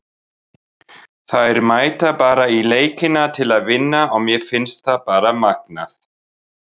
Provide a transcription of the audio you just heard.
Hann hefur játað og verður honum gert að undirgangast geðrannsókn.